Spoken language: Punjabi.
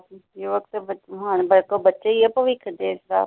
ਯੁੁੁੁੁਵੱਕ ਤੇ ਬੱਚੇ ਹੁੱਣ ਬੱਚੇ ਹੀ ਭਵਿੱਖ ਦੇਸ਼ ਦਾ।